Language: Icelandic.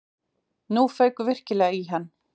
Nú fauk virkilega í hann.